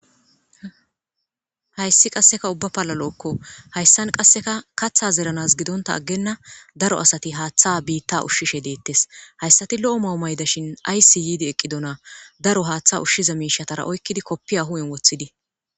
hayssi qasseka ubba pala lo7okko hayssan qasseka kaththa zeranas gidonta aggenna daro asati haaththa biitta ushshishe deettes hayssati lo7o mawo mayda shin aysi yiidi eqqidona daro haaththa ushshiza miishatara oykkidi koppiya hu7in woththidi